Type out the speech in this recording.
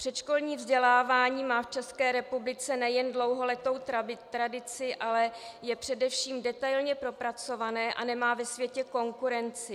Předškolní vzdělávání má v České republice nejen dlouholetou tradici, ale je především detailně propracované a nemá ve světě konkurenci.